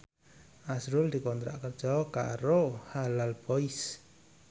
azrul dikontrak kerja karo Halal Boys